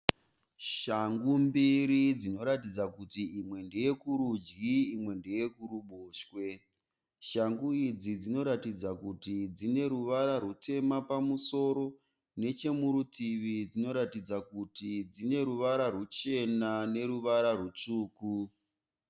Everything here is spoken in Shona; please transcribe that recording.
Shangu mbiri dzinoratidza kuti imwe ndeye kurudyi imwe ndeyekuruboshwe. Shangu idzi dzinoratidza kuti dzine ruvara rwutema pamusoro. Nechemurutivi dzinoratidza kuti dzine ruvara rwuchena neruva rwutsvuku.